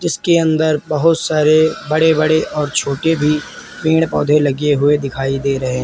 इसके अंदर बहुत सारे बड़े बड़े और छोटे भी पेड़ पौधे लगे हुए दिखाई दे रहे हैं।